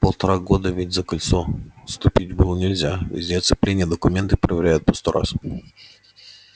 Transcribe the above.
полтора года ведь за кольцо ступить было нельзя везде оцепление документы проверяют по сто раз